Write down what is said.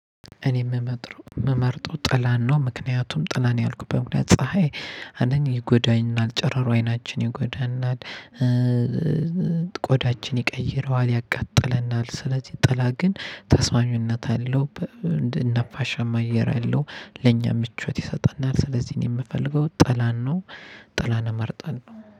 እኔ የምመጥረው የምመርጠው ጥላን ነው ምክንያቱም ጥላን ያልኩበት ምክንያት ፀሀይ አንደኛ ይጎዳናል ጨረሩ አይናችን ይጎዳናል ቆዳችን ይቀይረዋል ያቃጥለናል። ስለዚህ ጥላ ግን ተስማሚነት አለው እንደ ነፋሻም አየር አለው ለኛ ምቾት ይሰጠናል። ስለዚህ እኔ የምፈልገው ጥላን ነው ጥላን ነው ጥላን እመርጣለሁ